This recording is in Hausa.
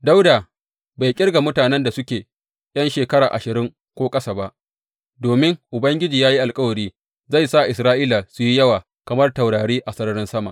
Dawuda bai ƙirga mutanen da suke ’yan shekara ashirin ko ƙasa ba, domin Ubangiji ya yi alkawari zai sa Isra’ila su yi yawa kamar taurari a sararin sama.